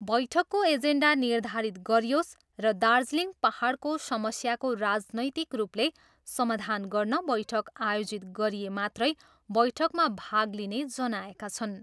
बैठकको एजेन्डा निर्धारित गरियोस् र दार्जिलिङ पाहाडको समस्याको राजनैतिक रूपले समाधान गर्न बैठक आयोजित गरिए मात्रै बैठकमा भाग लिने जनाएका छन्।